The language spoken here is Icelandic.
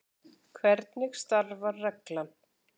Hvernig starfar reglan?